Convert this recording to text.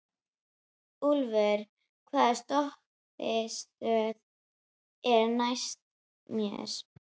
Úlfur, hvaða stoppistöð er næst mér?